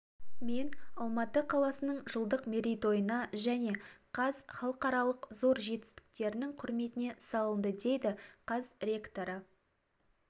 мен алматы қаласының жылдық мерейтойына және қаз халықаралық зор жетістіктерінің құрметіне салынды дейді қаз ректоры